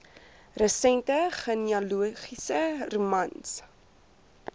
resente genealogiese romans